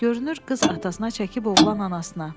Görünür qız atasına çəkib oğlan anasına.